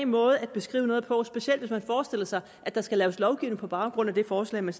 måde at beskrive noget på specielt hvis man forestiller sig at der skal laves lovgivning på baggrund af det forslag man